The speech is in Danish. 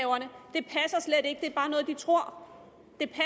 jeg tror